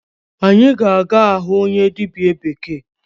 Anyị ga-aga ahụ onye dịbịa bekee.